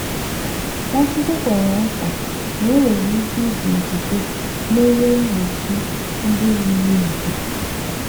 Nwachukwu kwere nkwa na e nwere ike iji okwukwe merie ihe mgbochi ndị yiri ugwu